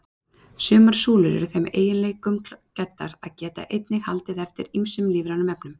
Sumar súlur eru þeim eiginleikum gæddar að geta einnig haldið eftir ýmsum lífrænum efnum.